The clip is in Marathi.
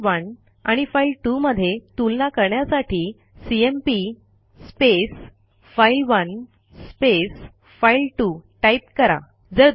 फाइल1 आणि फाइल2 मध्ये तुलना करण्यासाठी सीएमपी फाइल1 फाइल2 टाईप करा